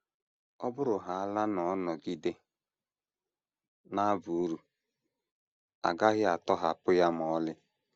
Ọ bụrụhaala na ọ nọgide na - aba uru, a gaghị atọhapụ ya ma ọlị.